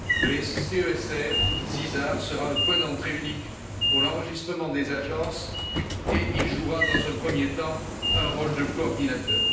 Le CESR sera le point d'entrée unique pour l'enregistrement des agences et il jouera dans un premier temps un rôle de coordinateur.